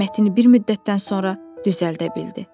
Qamətini bir müddətdən sonra düzəldə bildi.